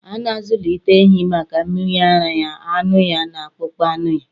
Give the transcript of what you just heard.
A na-azụlite ehi maka mmiri ara ya, anụ ya, na akpụkpọ anụ ya.